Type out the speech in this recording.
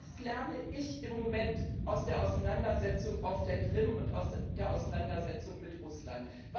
Was lerne ich im Moment aus der Auseinandersetzung auf der Krim und aus der Auseinandersetzung mit Russland?